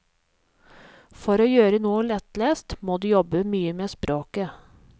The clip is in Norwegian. For å gjøre noe lettlest må du jobbe mye med språket.